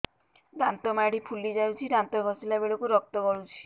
ଦାନ୍ତ ମାଢ଼ୀ ଫୁଲି ଯାଉଛି ଦାନ୍ତ ଘଷିଲା ବେଳକୁ ରକ୍ତ ଗଳୁଛି